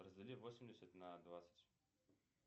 раздели восемьдесят на двадцать